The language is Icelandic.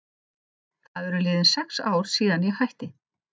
Það eru liðin sex ár síðan ég hætti.